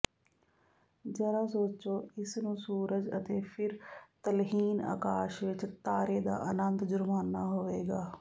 ਜ਼ਰਾ ਸੋਚੋ ਇਸ ਨੂੰ ਸੂਰਜ ਅਤੇ ਫਿਰ ਤਲਹੀਣ ਅਕਾਸ਼ ਵਿੱਚ ਤਾਰੇ ਦਾ ਆਨੰਦ ਜੁਰਮਾਨਾ ਹੋਵੇਗਾ